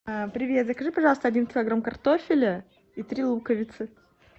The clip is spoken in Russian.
привет закажи пожалуйста один килограмм картофеля и три луковицы